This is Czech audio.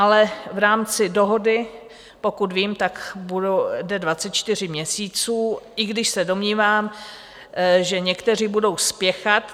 Ale v rámci dohody, pokud vím, tak jde 24 měsíců, i když se domnívám, že někteří budou spěchat.